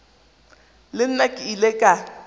le nna ke ile ka